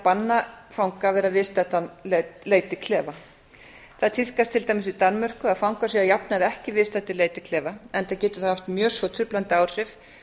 banna fanga að vera viðstaddir leit í klefa það tíðkast til dæmis í danmörku að fangar séu að jafnaði ekki viðstaddir leit í klefa enda getur það haft mjög svo truflandi áhrif